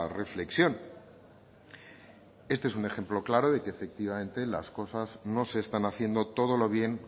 reflexión este es un ejemplo claro de que efectivamente las cosas no se están haciendo todo lo bien